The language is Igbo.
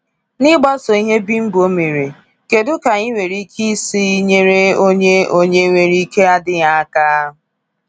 N’ịgbaso ihe Bimbo mere, kedu ka anyị nwere ike isi nyere onye onye nwere ike adịghị aka?